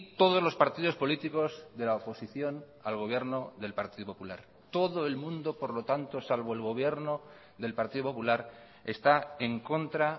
todos los partidos políticos de la oposición al gobierno del partido popular todo el mundo por lo tanto salvo el gobierno del partido popular está en contra